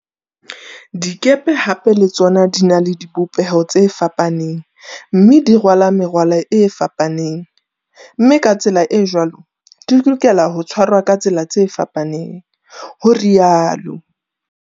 Dikepe hape le tsona di na le di bopeho tse fapaneng mme di rwala merwalo e fapaneng, mme ka tsela e jwalo di lokela ho tshwarwa ka tsela tse fapaneng, ho ri alo.